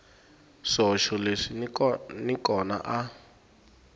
swihoxo leswi n kona a